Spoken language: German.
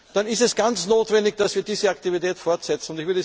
sind, dann ist es ganz notwendig, dass wir diese Aktivität fortsetzen.